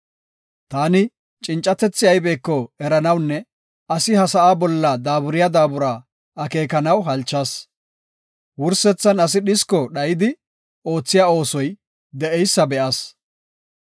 Taani cincatethi aybeko eranawunne asi ha sa7a bolla daaburiya daabura akeekanaw halchas; wursethan asi dhisko dhayidi oothiya oosoy de7eysa be7as.